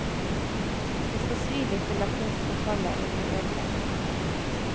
Det skal svi litt å la kunst forfalle eller bli ødelagt.